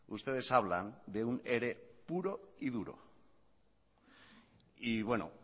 ustedes hablan de un ere puro y duro y bueno